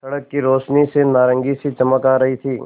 सड़क की रोशनी से नारंगी सी चमक आ रही थी